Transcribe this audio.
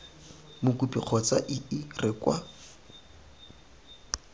mokopi kgotsa ii re kwa